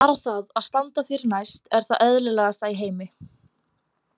Bara það að standa þér næst er það eðlilegasta í heimi.